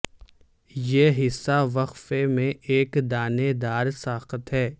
یہ حصہ وقفے میں ایک دانے دار ساخت ہے